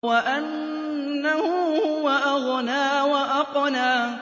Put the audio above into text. وَأَنَّهُ هُوَ أَغْنَىٰ وَأَقْنَىٰ